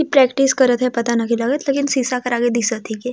इ प्रैक्टिस करथ हे पता ना के लगत लेकिन शीशा करा के आगे दिसा थी के--